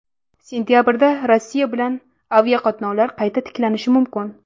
Sentabrda Rossiya bilan aviaqatnovlar qayta tiklanishi mumkin.